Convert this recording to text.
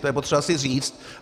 To je potřeba si říct.